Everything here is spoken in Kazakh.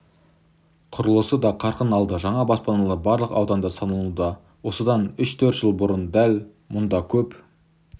құрылысы да қарқын алды жаңа баспаналар барлық ауданда салынуда осыдан үш-төрт жыл бұрын дәл мұндакөп